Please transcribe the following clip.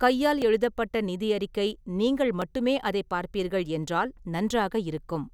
கையால் எழுதப்பட்ட நிதி அறிக்கை நீங்கள் மட்டுமே அதைப் பார்ப்பீர்கள் என்றால் நன்றாக இருக்கும்.